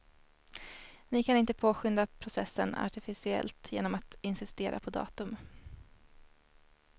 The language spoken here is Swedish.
Ni kan inte påskynda processen artificiellt genom att insistera på datum.